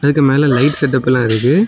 இதுக்கு மேல light setup எல்லா இருக்கு.